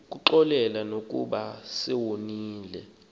ukuxolela nokuba sewoniwe